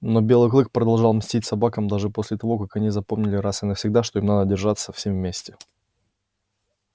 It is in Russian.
но белый клык продолжал мстить собакам даже после того как они запомнили раз и навсегда что им надо держаться всем вместе